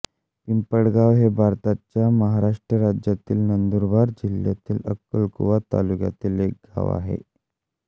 पिंपळगाव हे भारताच्या महाराष्ट्र राज्यातील नंदुरबार जिल्ह्यातील अक्कलकुवा तालुक्यातील एक गाव आहे